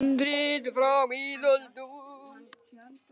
Handrit frá miðöldum.